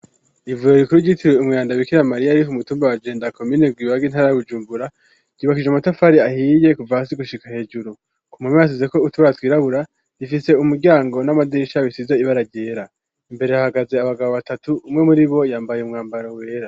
Ivuriro rikuru ryitirewe umweranda bikira mariya riri ku mu tumba wa jenda comine Rwibaga intara ya Bujumbura, ryubakije amatafari ahiye kuva hasi gushika hejuru ku manwa hasizeko utubara twirabura bifise umuryango n'amadisha bisize ibara ryera, imbere hahagaze abagabo batatu umwe muribo yambaye umwambaro wera.